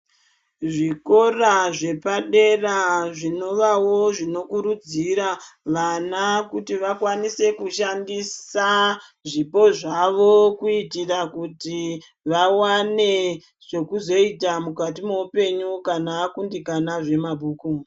Zvikora zvepadera zvinovawo zvinokurudzira vana kuti vakwanise kushandisa zvipo zvavo kuitira kuti vawane zvekuzoita mukati meupenyu kana akundikana zvemabhuku.